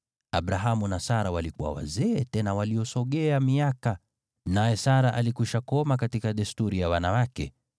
Abrahamu na Sara walikuwa wazee tena waliosogea miaka, naye Sara alikuwa amekoma katika desturi ya wanawake.